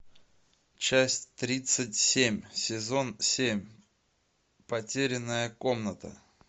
часть тридцать семь сезон семь потерянная комната